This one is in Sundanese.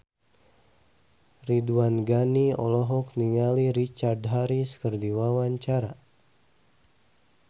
Ridwan Ghani olohok ningali Richard Harris keur diwawancara